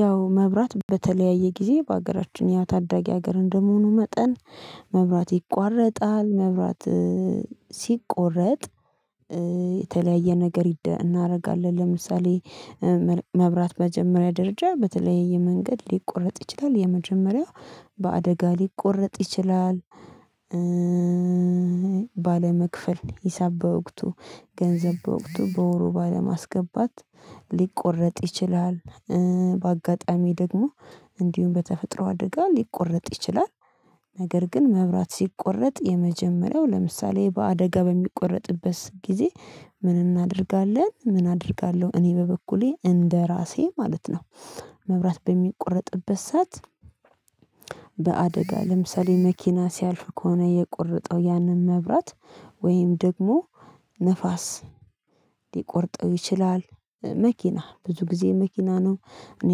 ያው መብራት በተለያየ ጊዜ በአገራችን ያ ታዳጊ ሀገር እንደመሆኑ መጠን መብራት ይቋረጣል መብራት ሲቆረጥ የተለያየ ነገር ይደ እናደርጋለን ለምሳሌ መል መብራት መጀመሪያ ደረጃ በተለያየ መንገድ ሊቆረጥ ይችላል የመጀመሪያው በአደጋ ሊቆረጥ ይችላል ባለመክፈል ሂሳብ በወቅቱ ገንዘብ በወቅቱ በወሩ ባለማስገባት ሊቆረጥ ይችላል በአጋጣሚ ደግሞ እንዲሁም በተፈጥሮ አደጋ ሊቆረጥ ይችላል ነገር ግን መብራት ሲቆረጥ የመጀመሪያው ለምሳሌ በአደጋ በሚቆረጥበት ሰ ጊዜ ምን እናደርጋለን ምን አደርጋለሁ እኔ በበኩሌ እንደራሴ ማለት ነው። መብራት በሚቆረጥበት ሰዓት በአደጋ ለምሳሌ መኪና ሲያልፍ ከሆነ የቆረጠው ያንን መብራት ወይም ደግሞ ንፋስ ሊቆርጠው ይችላል መኪና ብዙ ጊዜ መኪና ነው እኔ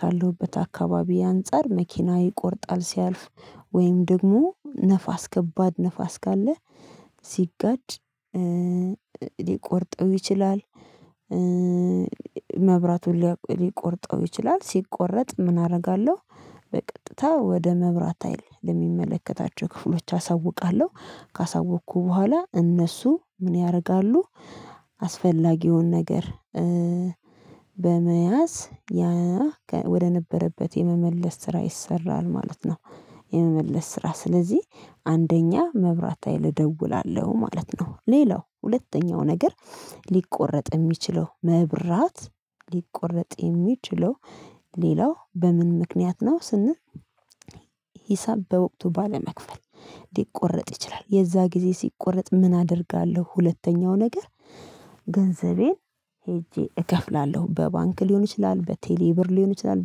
ካለሁበት አካባቢ አንፃር መኪና ይቆርጣል ሲያልፍ ወይም ደግሞ ነፋስ ከባድ ነፋስ ካለ ሲጋጭ ሊቆርጠው ይችላል። መብራቱን ሊያቅ ሊቆርጠው ይችላል ሲቆረጥ ምን አደርጋለሁ በቀጥታ ወደ መብራት ሀይል ለሚመለከታቸው ክፍሎች አሳውቃለሁ ካሳወቅኩ በኋላ እነሱ ምን ያደርጋሉ አስፈላጊውን ነገር በመያዝ ያከ ወደ ወደነበረበት የመመለስ ስራ ይሰራል ማለት ነው። የመመለስ ስራ ስለዚህ አንደኛ መብራት ሀይል ደውላለሁ ማለት ነው ሌላው ሁለተኛው ነገር ሊቆረጥ የሚችለው መብራት ሊቆረጥ የሚችለው ሌላው በምን ምክንያት ነው ስን ሂሳብ በወቅቱ ባለመክፈል ሊቆረጥ ይችላል። የዛ ጊዜ ሲቆረጥ ምን አደርጋለሁ ሁለተኛው ነገር ገንዘቤን ሄጄ እከፍላለሁ በባንክ ሊሆን ይችላል በቴሌ ብር ሊሆን ይችላል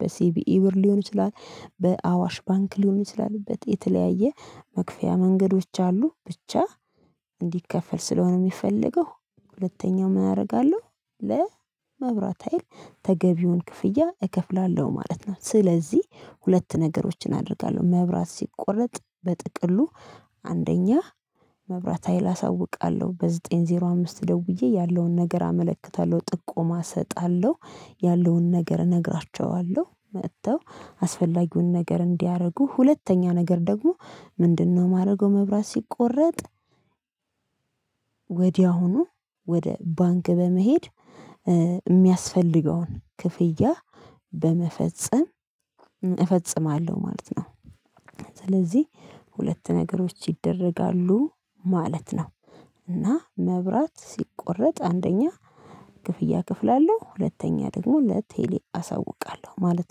በሲቢኢ ብር ሊሆን ይችላል በአዋሽ ባንክ ሊሆን ይችላልበት የተለያየ መክፈያ መንገዶች አሉ ብቻ እንዲከፈል ስለሆነ የሚፈልገው ሁለተኛው ምን አደርጋለሁ። ለመብራት ሀይል ተገቢውን ክፍያ እከፍላለሁ ማለት ነው። ስለዚህ ሁለት ነገሮችን አደርጋለሁ መብራት ሲቆረጥ በጥቅሉ አንደኛ መብራት ሀይል አሳውቃለሁ በዘጠኝ ዜሮ አምስት ደውዬ ያለውን ነገር አመለክታለሁ ጥቆማ እሰጣለሁ ያለውን ነገር እነግራችኋለሁ መጥተው አስፈላጊውን ነገር እንዲያደርጉ ሁለተኛ ነገር ደግሞ ምንድነው? የማደርገው መብራት ሲቆረጥ ወዲያውኑ ወደ ባንክ በመሄድ የሚያስፈልገውን ክፍያ በመፈጸም እፈጽማለሁ ማለት ነው። ስለዚህ ሁለት ነገሮች ይደረጋሉ ማለት ነው። እና መብራት ሲቆረጥ አንደኛ ክፍያ ከፍላለሁ ሁለተኛ ደግሞ ለቴሌ አሳውቃለሁ ማለት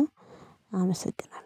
ነው። አመሰግናለሁ